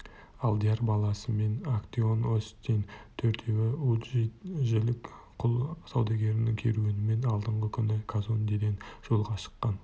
алдияр баласымен актеон остин төртеуі уджиджилік құл саудагерінің керуенімен алдыңғы күні казондеден жолға шыққан